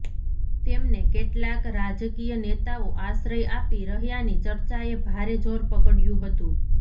તેમને કેટલાક રાજકિય નેતાઓ આશ્રય આપી રહ્યાની ચર્ચાએ ભારે જોર પકડયુ હતુ